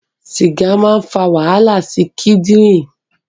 Sìgà máa ń fà wàhálà sí kindirin